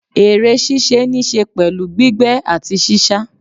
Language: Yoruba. eré ṣíṣe ni se pẹlu gbígbé ati sísá